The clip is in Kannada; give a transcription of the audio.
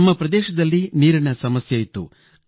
ನಮ್ಮ ಪ್ರದೇಶದಲ್ಲಿ ನೀರಿನ ಸಮಸ್ಯೆಯಿತ್ತು